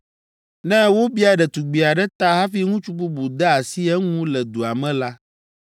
Ne wobia ɖetugbi aɖe ta hafi ŋutsu bubu de asi eŋu le dua me la,